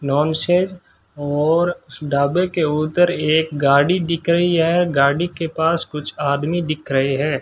और उस ढाबे के उधर एक गाड़ी दिख रही है गाड़ी के पास कुछ आदमी दिख रहे हैं।